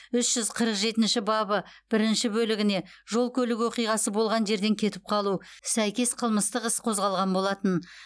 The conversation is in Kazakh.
үш жүз қырық жетінші бабы бірінші бөлігіне жол көлік оқиғасы болған жерден кетіп қалу сәйкес қылмыстық іс қозғалған болатын